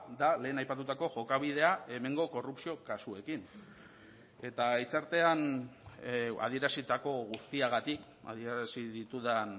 da lehen aipatutako jokabidea hemengo korrupzio kasuekin eta hitzartean adierazitako guztiagatik adierazi ditudan